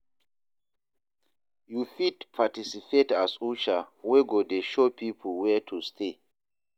yu fit participate as usher wey go dey show pipo wia to stay